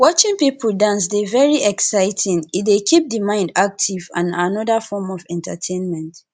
watching people dance dey very exciting e dey keep di mind active and na anoda form of entertainment